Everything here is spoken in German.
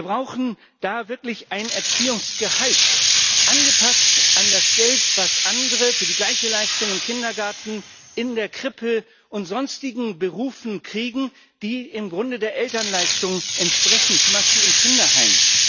Wir brauchen da wirklich ein Erziehungsgehalt, angepasst an das Geld, das andere für die gleiche Leistung im Kindergarten, in der Krippe und sonstigen Berufen kriegen, die im Grunde der Elternleistung entsprechen, zum Beispiel im Kinderheim.